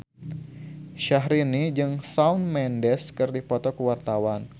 Syahrini jeung Shawn Mendes keur dipoto ku wartawan